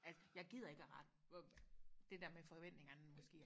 at jeg gider ikke og rette hvor det der med forventningerne måske